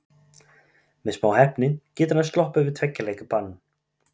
Með smá heppni getur hann sloppið við tveggja leikja bann.